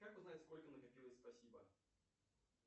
как узнать сколько накопилось спасибо